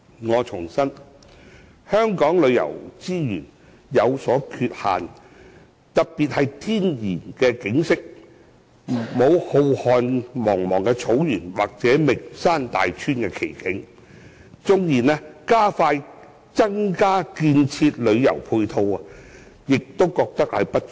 我重申，香港旅遊資源有所缺限，特別是天然景色方面，我們並無浩瀚茫茫的草原或名山大川的奇景，縱然加快增建旅遊配套，但仍覺不足。